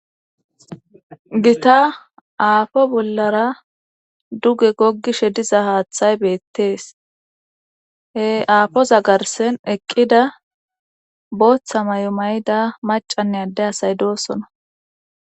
Gita afo bolara duge gogishe diza hathay bettes he afoza garsa eqida botha mayo mayida adde asay dosona.